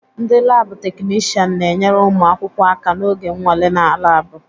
Ndị laabụ̀ teknishian na-enyere ụmụ akwụkwọ aka n'oge nnwale na laabụ̀.